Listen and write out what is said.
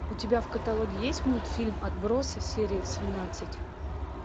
у тебя в каталоге есть мультфильм отбросы серия семнадцать